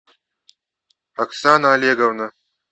оксана олеговна